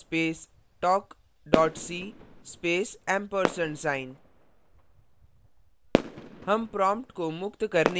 gedit space talk dot c space & sign